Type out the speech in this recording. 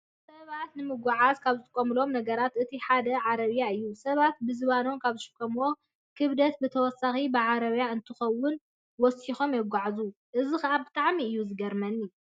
ሰባት ንመጎዓዓዝያ ካብ ዝጥቀምሎም ነገራት እቲ ሓደ ዓረብያ እዩ። ሰባት ብዝባኖም ካብ ዝሽከምዎም ክብደት ብተወሳኪ ብዓረብያ እንተኾይኑ ወሲኾም የጎዕዕዙ። እዚ ከዓ ብጣዕሚ እዩ ዝገርመኒ።